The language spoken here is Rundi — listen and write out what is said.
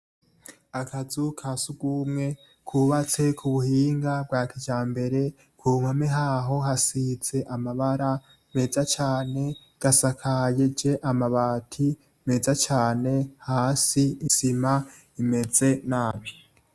Akazu kasugumwe kubatse kubuhinga bwa kijambere kumpome haho hasize amabara meza cane gasakarije amabati meza cane hasi isima imeze nabi.